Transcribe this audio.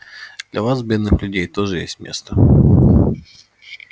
для вас бедных людей тоже есть место